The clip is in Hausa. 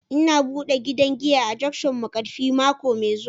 Ina bude gidan giya a junction Markafi mako mai zuwa